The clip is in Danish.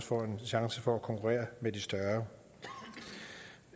får en chance for at konkurrere med de større